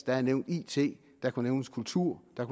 er nævnt it der kunne nævnes kultur der